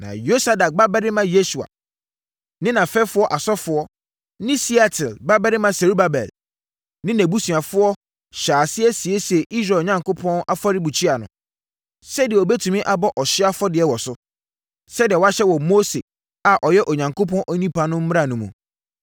Na Yosadak babarima Yesua ne nʼafɛfoɔ asɔfoɔ ne Sealtiel babarima Serubabel ne nʼabusuafoɔ hyɛɛ aseɛ siesiee Israel Onyankopɔn afɔrebukyia no, sɛdeɛ wɔbɛtumi abɔ ɔhyeɛ afɔdeɛ wɔ so, sɛdeɛ wɔahyɛ wɔ Mose a ɔyɛ Onyankopɔn onipa no mmara mu no.